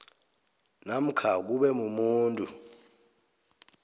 namkha kube mumuntu